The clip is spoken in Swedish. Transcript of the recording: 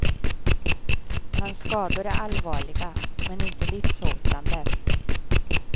Hans skador är allvarliga, men inte livshotande.